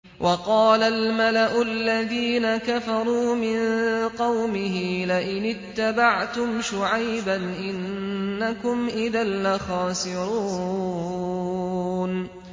وَقَالَ الْمَلَأُ الَّذِينَ كَفَرُوا مِن قَوْمِهِ لَئِنِ اتَّبَعْتُمْ شُعَيْبًا إِنَّكُمْ إِذًا لَّخَاسِرُونَ